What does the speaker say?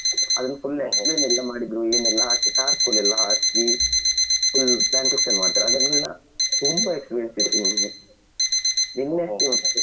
ಅದನ್ನು full explain ಎಲ್ಲ ಮಾಡಿದ್ರು ಏನೆಲ್ಲಾ ಹಾಕಿ charcoal ಎಲ್ಲ ಹಾಕಿ full plantation ಮಾಡ್ತಾರೆ ಅದನೆಲ್ಲಾ ತುಂಬಾ experience ಇತ್ತು ನಿನ್ನೆ .